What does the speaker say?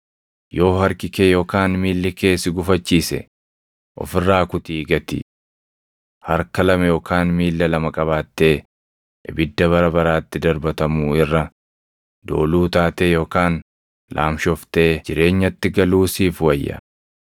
Yoo harki kee yookaan miilli kee si gufachiise, of irraa kutii gati. Harka lama yookaan miilla lama qabaattee ibidda bara baraatti darbatamuu irra, dooluu taatee yookaan laamshoftee jireenyatti galuu siif wayya.